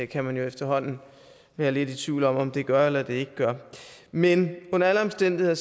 kan man jo efterhånden være lidt i tvivl om om det gør eller ikke gør men under alle omstændigheder